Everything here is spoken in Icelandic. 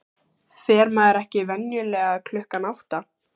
Fer maður ekki venjulega klukkan átta?